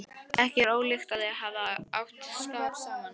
Ekki er ólíklegt að þau hafi átt skap saman.